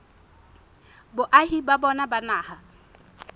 boahi ba bona ba naha